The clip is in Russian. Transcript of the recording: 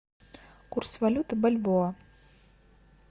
курс валюты бальбоа